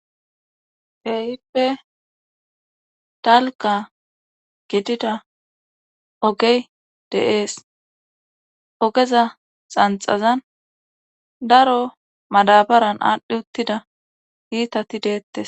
Teyippe dalga gidida ogey de7ees ogeza xanxazan daro madabaran aadhdhi uttida iitati deettes